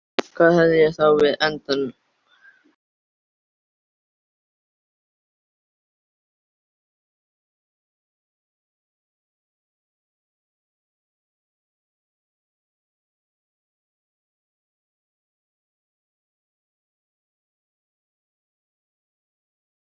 Hvað hefði ég þá við andann í nösunum að gera?